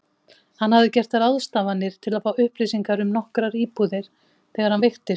Hann hafði gert ráðstafanir til að fá upplýsingar um nokkrar íbúðir þegar hann veiktist.